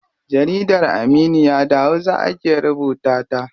Jaridar Aminiya da hausa ake rubuta ta.